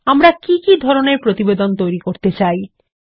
আমরা কি কি ধরনের প্রতিবেদন তৈরী করতে চাই160